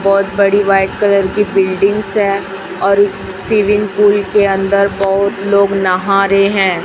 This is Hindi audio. बहोत बड़ी व्हाइट कलर की बिल्डिंग्स है और इस स्विमिंग पूल के अंदर बहोत लोग नहा रे है।